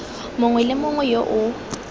mongwe le mongwe yo o